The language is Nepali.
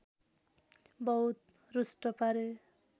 बहुत रुष्ट पारे